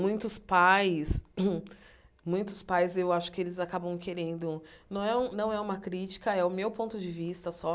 Muitos pais, muitos pais eu acho que eles acabam querendo... Não é um não é uma crítica, é o meu ponto de vista só.